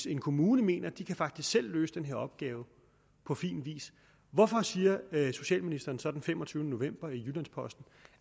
i en kommune mener at de faktisk selv kan løse den her opgave på fin vis hvorfor siger socialministeren så den femogtyvende november i jyllands posten